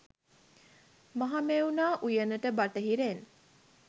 මහමෙවුනා උයනට බටහිරෙන්